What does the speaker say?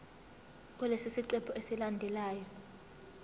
kulesi siqephu esilandelayo